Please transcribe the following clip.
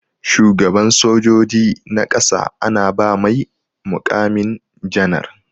Shugaban sojoji na ƙasa ana ba mai mukamin janar.